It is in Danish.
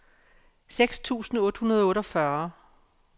seks tusind otte hundrede og otteogfyrre